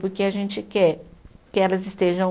Porque a gente quer que elas estejam